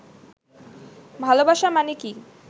ভালবাসা মানে কি